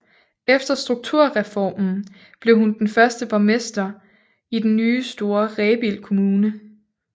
Efter strukturreformen blev hun den første borgmester i den nye store Rebild Kommune